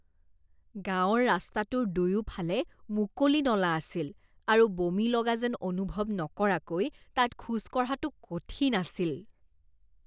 গাঁৱৰ ৰাস্তাটোৰ দুয়োফালে মুকলি নলা আছিল আৰু বমি লগা যেন অনুভৱ নকৰাকৈ তাত খোজ কঢ়াটো কঠিন আছিল।